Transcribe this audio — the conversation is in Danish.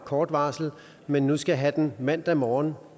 kort varsel men nu skal have den mandag morgen